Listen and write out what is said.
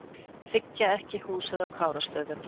Þiggja ekki húsið á Kárastöðum